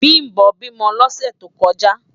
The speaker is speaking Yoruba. Bimbo bímò lòsè tókòjá